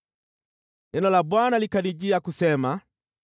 Neno la Bwana likanijia kusema: